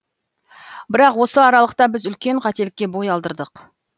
бірақ осы аралықта біз үлкен қателікке бой алдырдық